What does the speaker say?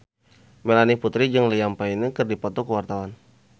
Melanie Putri jeung Liam Payne keur dipoto ku wartawan